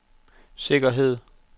sikkerhed